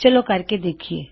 ਚਲੋ ਕਰਕੇ ਦੇਖਿਏ